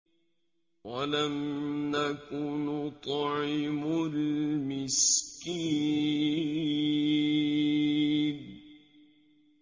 وَلَمْ نَكُ نُطْعِمُ الْمِسْكِينَ